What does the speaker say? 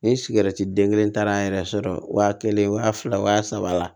Ni sigɛriti den kelen taara an yɛrɛ sɔrɔ wa kelen wa fila wa saba la